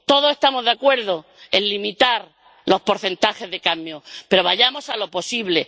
Todos estamos de acuerdo en limitar los porcentajes de cadmio, pero vayamos a lo posible.